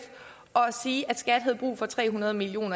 og sige at skat havde brug for tre hundrede million